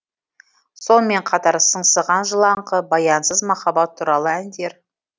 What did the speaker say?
сонымен қатар сыңсыған жылаңқы баянсыз махаббат туралы әндер